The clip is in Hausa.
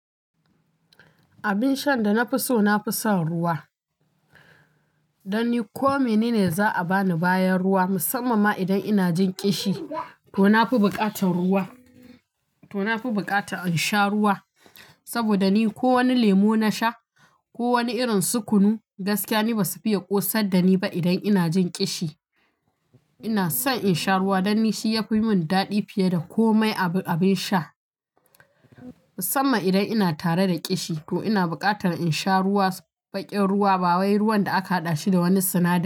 Abin sha da na fi so, na fi son ruwa. Dan ni ko mene ne za a ba ni bayan ruwa, musamman ma idan ina jin ƙishi ko na fi buƙatan in sha ruwa. Saboda ni ko wani lemu na sha ko wani irin sukunu, gaskiya ni ba su fiye ƙosar da ni ba idan ina jin ƙishi. Ina son in sha ruwa dan shi ya fi yi min daɗi fiye da komai abin sha. Musamman idan ina tare da ƙishi ko ina buƙatan in sha ruwa, baƙin ruwa ba wai ruwan da aka haɗa shi da wani sinadari.